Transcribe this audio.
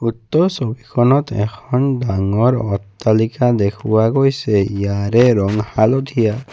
উক্ত ছবিখনত এখন ডাঙৰ অট্টালিকা দেখুওৱা হৈছে ইয়াৰে ৰং হালধীয়া।